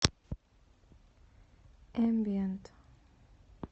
эмбиент